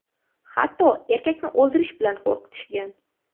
Hatto erkakni o‘ldirish bilan qo‘rqitishgan.